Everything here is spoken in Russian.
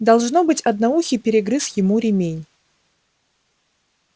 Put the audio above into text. должно быть одноухий перегрыз ему ремень